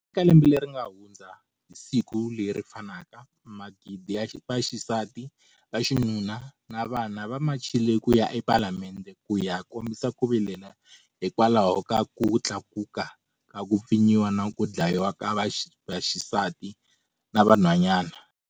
Eka lembe leri nga hundza, hi siku leri fanaka, magidi ya vaxisati, vaxinuna na vana va machile ku ya ePalamende ku ya kombisa ku vilela hikwalaho ka ku tlakuka ka ku pfinyiwa na ku dlayiwa ka vaxisati na van'hwanyana.